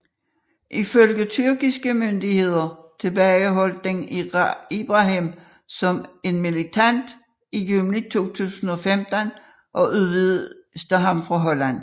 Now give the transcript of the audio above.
Ifølge tyrkiske myndigheder tilbageholdt de Ibrahim som en militant i juni 2015 og udviste ham til Holland